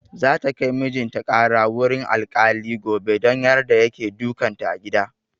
Za ta kai mijin ta ƙara wurin alkali gobe don yarda yake dukan ta a gida.